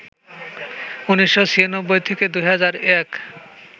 ১৯৯৬ থেকে ২০০১